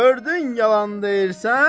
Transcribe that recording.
Gördün yalan deyirsən?